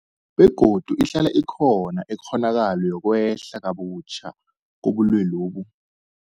Begodu ihlala ikhona ikghonakalo yokwehla kabutjha kobulwelobu.